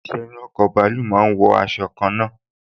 Àwọn òṣìṣẹ́ inú ọkọ̀ bàálù máa n wọ aṣọ kanna